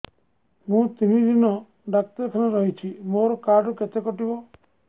ମୁଁ ତିନି ଦିନ ଡାକ୍ତର ଖାନାରେ ରହିଛି ମୋର କାର୍ଡ ରୁ କେତେ କଟିବ